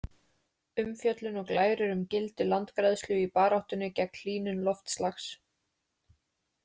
Umfjöllun og glærur um gildi landgræðslu í baráttunni gegn hlýnun loftslags.